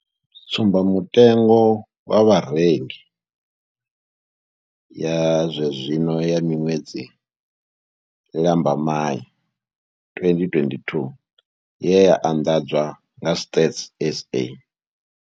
Tsumbamutengo wa vharengi ya zwenezwino ya ṅwedzi wa Lambamai 2022 ye ya anḓadzwa nga Stats SA.